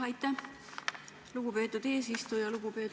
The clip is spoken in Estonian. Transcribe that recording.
Aitäh, lugupeetud eesistuja!